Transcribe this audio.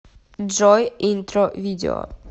джой интро видео